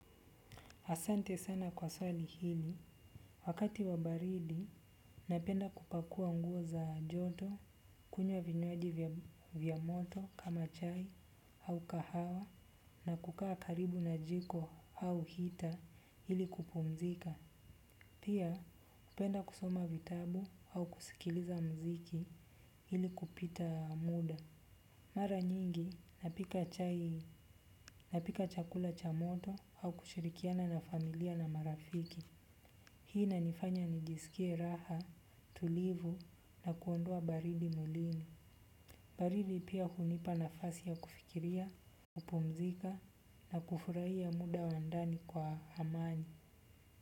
Asante sana kwa swali hili. Wakati wa baridi, napenda kupakua nguo za joto, kunywa vinywaji vya moto kama chai au kahawa na kukaa karibu na jiko au heater ili kupumzika. Pia, hupenda kusoma vitabu au kusikiliza muziki ili kupita muda. Mara nyingi napika chakula cha moto au kushirikiana na familia na marafiki. Hii inanifanya nijisikie raha tulivu na kuondoa baridi mwilini. Baridi pia hunipa nafasi ya kufikiria, kupumzika na kufurahia muda wa ndani kwa amani.